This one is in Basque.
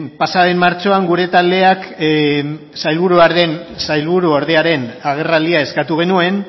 pasa den martxoan gure taldeak sailburuordearen agerraldia eskatu genuen